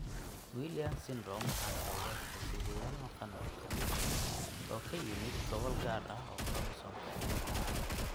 Williams syndrome waxaa sababa hiddo-sideyaal maqan oo ka yimid gobol gaar ah oo koromosoomka ciladaha ah.